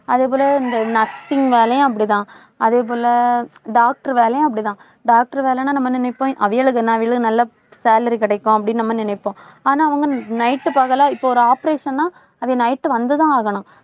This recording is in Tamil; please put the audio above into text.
அதே போல, இந்த nursing வேலையும் அப்படித்தான். அதே போல, doctor வேலையும் அப்படித்தான் doctor வேலைன்னா நம்ம நினைப்போம். அவிகளுக்கென்ன நல்லா salary கிடைக்கும் அப்படின்னு நம்ம நினைப்போம். ஆனா அவங்க night பகலா இப்போ ஒரு operation ஆ அது night வந்துதான் ஆகணும்.